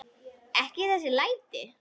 Ekki þessi læti.